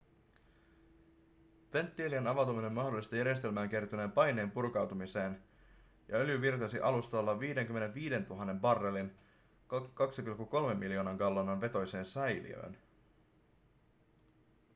venttiilien avautuminen mahdollisti järjestelmään kertyneen paineen purkautumiseen ja öljy virtasi alustalla 55 000 barrelin 2,3 miljoonan gallonan vetoiseen säiliöön